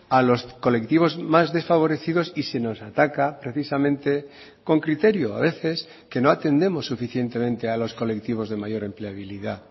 a los colectivos más desfavorecidos y se nos ataca precisamente con criterio a veces que no atendemos suficientemente a los colectivos de mayor empleabilidad